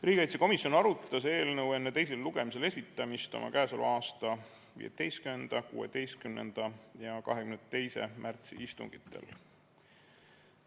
Riigikaitsekomisjon arutas eelnõu enne teisele lugemisele esitamist 15., 16. ja 22. märtsi istungil.